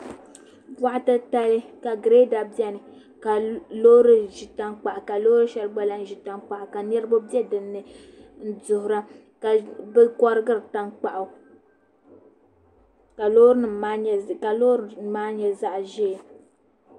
Boɣa titali ka Girɛda biɛni ka loori ʒi tankpaɣu ka Loori shɛli gba lahi ʒi tankpaɣu ka niraba bɛ dinni n duɣura ka bi korigiri tankpaɣu ka Loori nim maa nyɛ zaɣ ʒiɛ